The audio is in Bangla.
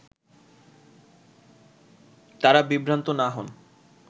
তারা বিভ্রান্ত না হন